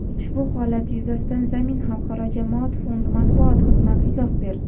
Ushbu holat yuzasidan "Zamin" xalqaro jamoat fondi Matbuot xizmati izoh berdi.